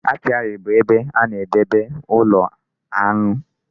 Apiary bụ ebe a na-edobe ụlọ aṅụ.